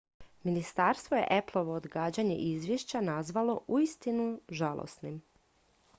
"ministarstvo je appleovo odgađanje izvješća nazvalo "uistinu žalosnim"".